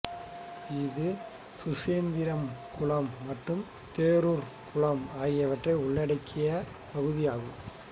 இது சுசீந்திரம் குளம் மற்றும் தேரூர் குளம் ஆகியவற்றை உள்ளடக்கியப் பகுதியாகும்